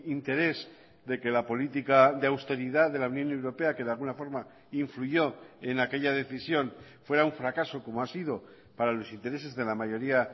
interés de que la política de austeridad de la unión europea que de alguna forma influyó en aquella decisión fuera un fracaso como ha sido para los intereses de la mayoría